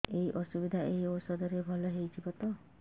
ଏଇ ଅସୁବିଧା ଏଇ ଔଷଧ ରେ ଭଲ ହେଇଯିବ ତ